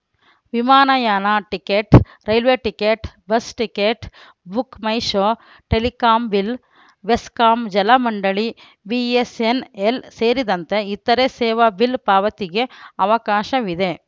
ವಿಮಾನಯಾನ ticket railway ticket bus ticket Book My Show telecom bill BESCOM ಜಲಮಂಡಳಿ ಬಿಎಸ್‌ಎನ್‌ಎಲ್‌ ಸೇರಿದಂತೆ ಇತರೆ ಸೇವಾ ಬಿಲ್‌ ಪಾವತಿಗೆ ಅವಕಾಶವಿದೆ